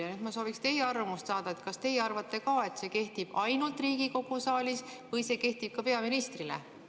Ja nüüd ma sooviksin teie arvamust saada: kas teie arvate ka, et see kehtib ainult Riigikogu saalis, või arvate, et see kehtib ka peaministrile?